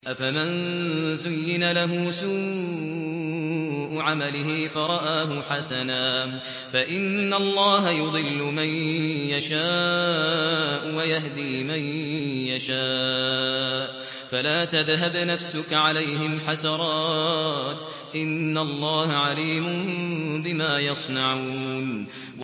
أَفَمَن زُيِّنَ لَهُ سُوءُ عَمَلِهِ فَرَآهُ حَسَنًا ۖ فَإِنَّ اللَّهَ يُضِلُّ مَن يَشَاءُ وَيَهْدِي مَن يَشَاءُ ۖ فَلَا تَذْهَبْ نَفْسُكَ عَلَيْهِمْ حَسَرَاتٍ ۚ إِنَّ اللَّهَ عَلِيمٌ بِمَا يَصْنَعُونَ